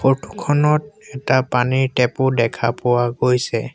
Photo খনত এটা পানীৰ টেপ ও দেখা পোৱা গৈছে।